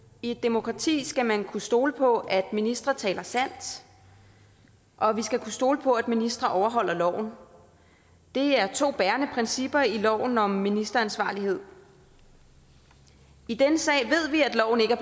i et demokrati skal man kunne stole på at ministre taler sandt og vi skal kunne stole på at ministre overholder loven det er to bærende principper i loven om ministeransvarlighed i denne sag